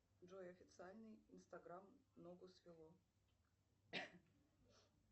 джой официальный инстаграм ногу свело